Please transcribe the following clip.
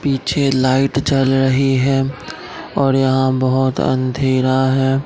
पीछे लाइट जल रही हैं और यहां बहोत अंधेरा है।